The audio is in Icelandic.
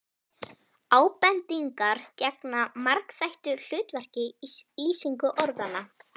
Ábendingar gegna margþættu hlutverki í lýsingu orðanna.